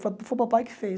Foi foi o papai que fez.